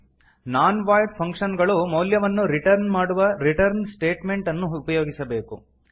ನಾನ್ void function ಗಳು ಮೌಲ್ಯವನ್ನು return ಮಾಡುವ ರಿಟರ್ನ್ ಸ್ಟೇಟ್ಮೆಂಟ್ ಅನ್ನು ಉಪಯೋಗಿಸಬೇಕು